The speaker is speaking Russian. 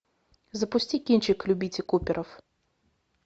запусти кинчик любите куперов